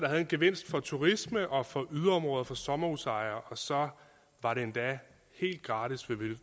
havde en gevinst for turisme og for yderområder og for sommerhusejere og så var det endda helt gratis